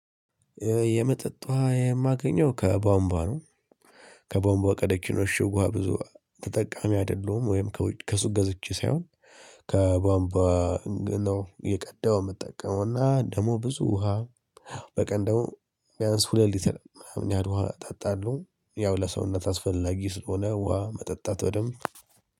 የመጠጥ ውሃ የማገኘው ከቧንቧ ነው። ከቧንቧ ከደኪኖሽ ውሃ ብዙ ተጠቃሚ አይደለሁም ወይም ከሱ ገዝቼ ሳይሆን ከቧንቧ ነው እየቀዳሁ የምጠቀመው እና ደሞ ብዙ ውሃ በቀን ደሞ ቢያንስ ሁለት ሊትር ያህል ውሃ አጣጣለሁ ያው ለሰውነት አስፈላጊ ስለሆነ ውሃ መጠጣት በደንብ